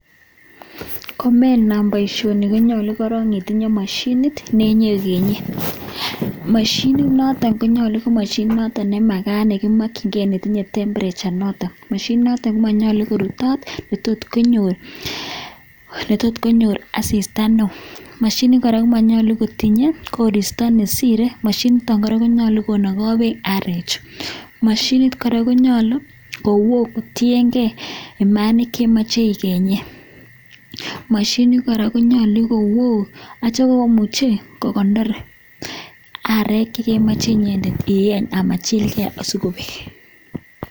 Komenam boishoni konyolu itindoi moshinit netinye vienye moshinit noton konyolu ko moshinit nemagat negimokinkei netinye temperature noton moshinit noton komonyolu korutot netot konyor asista neo moshinit komonyelu kotinye koristo nesire moshinit niton konyolu konogo bek arek moshinit konyolu kowo kotiyengei Manik kotienge moshinit kora konyolu kowo akonyolu kogeny mainik akogeny arog asimachilge.